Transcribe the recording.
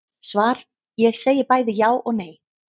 Svar Ég segi bæði já og nei.